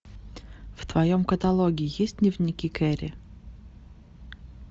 в твоем каталоге есть дневники кэрри